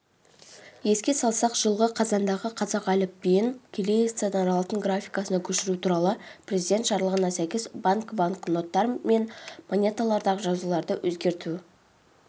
еске салсақ жылғы қазандағы қазақ тілі әліпбиін кириллицадан латын графикасына көшіру туралы президент жарлығына сәйкес ұлттық банкібанкноттар мен монеталардағы жазуларды өзгерту